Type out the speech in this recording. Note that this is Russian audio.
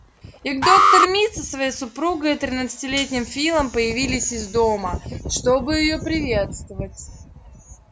и доктор мид со своей супругой и тринадцатилетним филом появились из дома чтобы её приветствовать